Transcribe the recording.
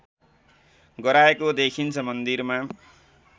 गराएको देखिन्छ मन्दिरमा